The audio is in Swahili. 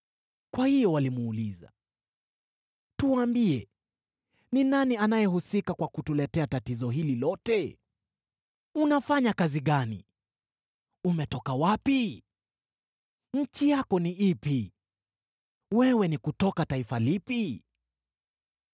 Kwa hiyo walimuuliza, “Tuambie, ni nani anayehusika kwa kutuletea tatizo hili lote? Unafanya kazi gani? Umetoka wapi? Nchi yako ni ipi? Wewe ni kutoka taifa lipi?”